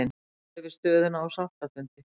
Fara yfir stöðuna á sáttafundi